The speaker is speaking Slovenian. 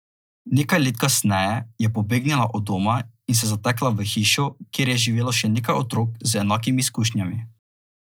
Nekaj let kasneje je pobegnila od doma in se zatekla v hišo, kjer je živelo še nekaj otrok z enakimi izkušnjami.